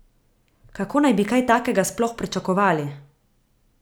Kako naj bi kaj takega sploh pričakovali?